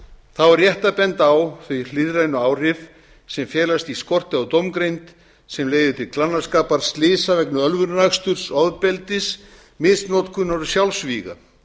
þá er rétt að benda á þau hliðrænu áhrif sem felast í skorti á dómgreind sem leiðir til glannaskapar slysa vegna ölvunaraksturs ofbeldis misnotkunar og sjálfsvíga